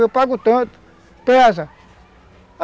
Eu pago tanto, pesa.